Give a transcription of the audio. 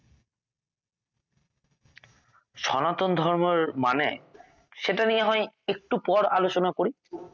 সনাতন ধর্ম এর মানে সেটা নিয়ে হয় একটু পর আলোচনা করি